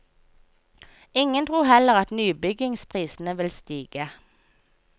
Ingen tror heller at nybyggingsprisene vil stige.